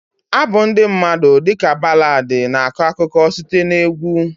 Abụ ndị mmadụ dị ka Baladi na-akọ akụkọ site na egwu.